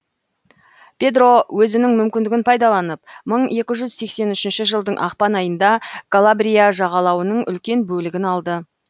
педро өзінің мүмкіндігін пайдаланып мың екі жүз сексен үшінші жылдың ақпан айында калабрия жағалауының үлкен бөлігін алды